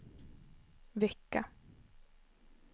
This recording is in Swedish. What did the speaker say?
vecka